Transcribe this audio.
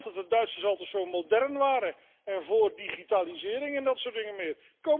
Ik dacht dat de Duitsers altijd zo modern waren en voor digitalisering en dat soort dingen meer.